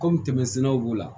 Kɔmi tɛmɛsɛnɛ b'u la